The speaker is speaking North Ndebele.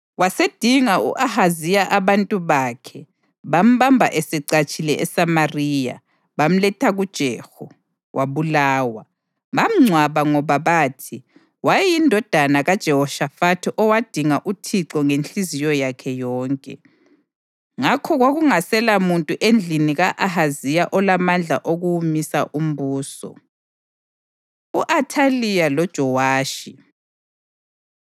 Wasedinga u-Ahaziya abantu bakhe bambamba esecatshile eSamariya, bamletha kuJehu, wabulawa. Bamngcwaba ngoba bathi: “Wayeyindodana kaJehoshafathi owadinga uThixo ngenhliziyo yakhe yonke.” Ngakho kwakungaselamuntu endlini ka-Ahaziya olamandla okuwumisa umbuso. U-Athaliya LoJowashi